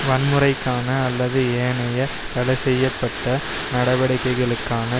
வன்முறைக்கான அல்லது ஏனைய தடைசெய்ய பட்ட நடவடிக்கைகளுக்கான